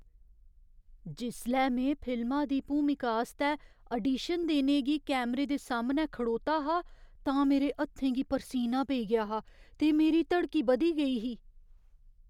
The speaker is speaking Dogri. जिसलै में फिल्मा दी भूमिका आस्तै आडीशन देने गी कैमरे दे सामनै खड़ोता हा तां मेरे हत्थें गी परसीना पेई गेआ हा ते मेरी धड़की बधी गेई ही।